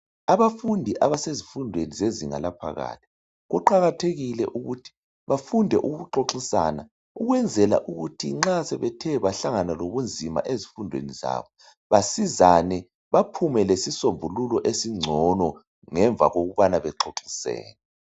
Abafundi abasezifundweni zezinga laphakathi kuqakathekile ukuthi bafunde ukuxoxisana ukwenzela ukuthi nxa sebethe bahlangana lobunzima ezifundweni zabo basizane baphume lesisombululo esingcono ngemva kokubana bexoxisene.